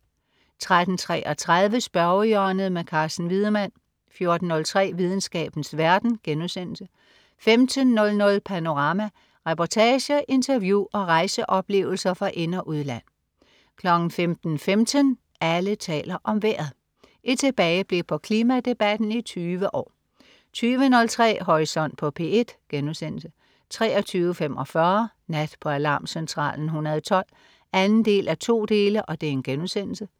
13.33 Spørgehjørnet. Carsten Wiedemann 14.03 Videnskabens verden* 15.00 Panorama. Reportager, interview og rejseoplevelser fra ind- og udland 15.15 Alle taler om vejret. Et tilbageblik på klimadebatten i 20 år 20.03 Horisont på P1* 23.45 Nat på Alarmcentralen 112 2:2*